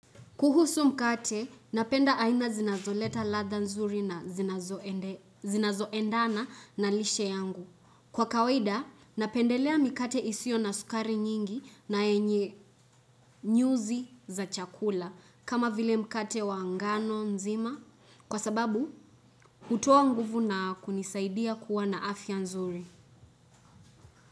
Kuhusu mkate, napenda aina zinazoleta ladha nzuri na zinazo endana na lishe yangu. Kwa kawaida, napendelea mikate isiyo na sukari nyingi na yenye nyuzi za chakula kama vile mkate wangano nzima kwa sababu hutoa nguvu na kunisaidia kuwa na afya nzuri.